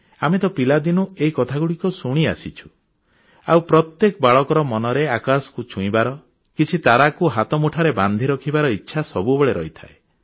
ଆମେ ତ ପିଲାଦିନୁ ଏହି କଥାଗୁଡ଼ିକ ଶୁଣିଆସିଛୁ ଆଉ ପ୍ରତ୍ୟେକ ବାଳକର ମନରେ ଆକାଶକୁ ଛୁଇଁବାର କିଛି ତାରାକୁ ହାତ ମୁଠାରେ ବାନ୍ଧି ରଖିବାର ଇଚ୍ଛା ସବୁବେଳେ ରହିଥାଏ